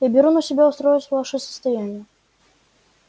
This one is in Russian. я беру на себя устроить ваше состояние